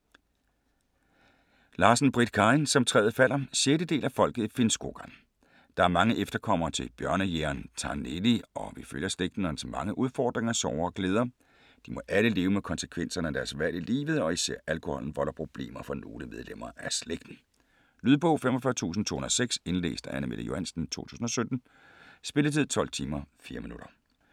Larsen, Britt Karin: Som træet falder 6. del af Folket i Finnskogen. Der er mange efterkommere til bjørnejægeren Taneli og vi følger slægten og dens mange udfordringer, sorger og glæder. De må alle leve med konsekvenserne af deres valg i livet og især alkoholen volder problemer for nogle medlemmer af slægten. Lydbog 45206 Indlæst af Anne-Mette Johansen, 2017. Spilletid: 12 timer, 4 minutter.